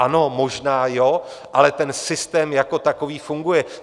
Ano, možná ano, ale ten systém jako takový funguje.